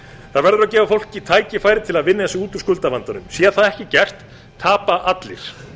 það verður að gefa fólki tækifæri til að vinna sig út úr skuldavandanum sé það ekki gert tapa allir